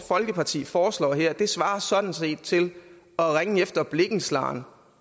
folkeparti foreslår her svarer sådan set til at ringe efter blikkenslageren